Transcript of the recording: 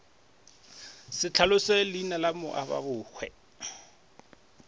sa hlaloše leina la moababohwa